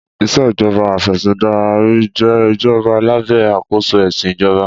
Ìṣèjọba Afẹ̀sìndarí jẹ́ ìjọba lábẹ́ àkóso ẹ̀sìn ìjọba.